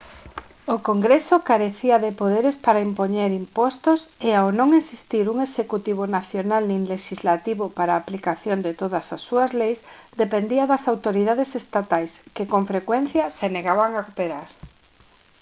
o congreso carecía de poderes para impoñer impostos e ao non existir un executivo nacional nin lexislativo para a aplicación de todas as súas leis dependía das autoridades estatais que con frecuencia se negaban a cooperar